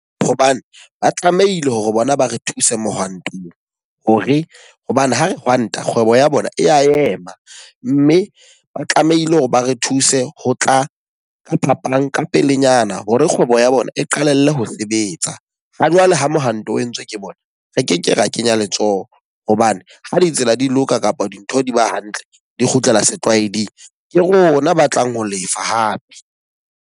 Hobane ba tlamehile hore bona ba re thuse mohwantong. Ho re hobane ha re hwanta, kgwebo ya bona e ya ema. Mme ba tlamehile hore ba re thuse ho tla ka phapang ka pelenyana hore kgwebo bona eqalelle ho sebetsa. Ha jwale ha mohanto o entswe ke bona, re ke ke ra kenya letsoho. Hobane ha ditsela di loka kapa dintho di ba hantle di kgutlela setlwaeding. Ke rona ba tlang ho lefa hape.